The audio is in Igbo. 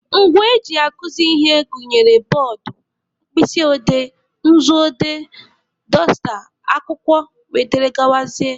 Ngwa eji akuzi ihe gụnyere bọọdụ, mkpịsị odee, nzu odee, dọsta, akwụkwọ wdg.